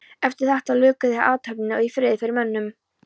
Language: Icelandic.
Eftir þetta luku þeir athöfninni í friði fyrir mönnum.